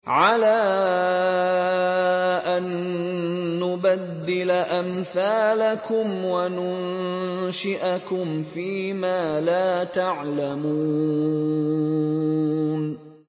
عَلَىٰ أَن نُّبَدِّلَ أَمْثَالَكُمْ وَنُنشِئَكُمْ فِي مَا لَا تَعْلَمُونَ